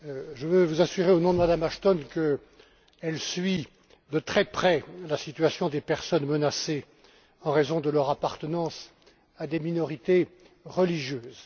Je veux vous assurer, au nom de Mme Ashton, qu'elle suit de très près la situation des personnes menacées en raison de leur appartenance à des minorités religieuses.